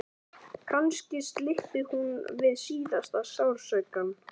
Kannski slyppi hún við síðasta sársaukann.